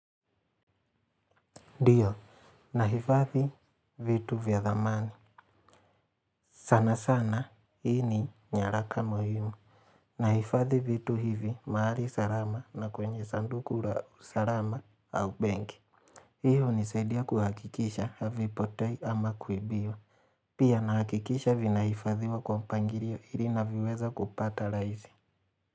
Dio, nahifadhi vitu vya thamani. Sana sana, hii ni nyaraka muhimu. Nahifadhi vitu hivi, mahari sarama na kwenye sanduku ra sarama au benk. Hii hunisaidia kuhakikisha, havipotei ama kuibiwa. Pia, nahakikisha vinahifadhiwa kwa mpangirio ili ninavyoweza kupata raisi.